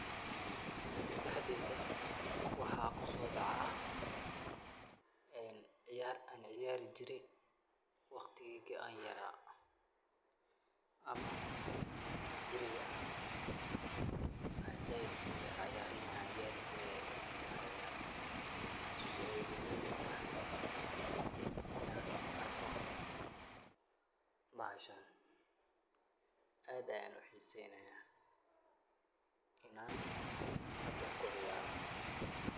MasQaxdeyda waxa kusodacah ini ceeyartaa ceeyari jeeray waqdika yaray amah beerika iyo saait u yaray ceeyari jeeray tahay xasus Aya egu rebeysah inan arkoh, bahashan aad Aya u xeeseynaya inan kuceeyaroh .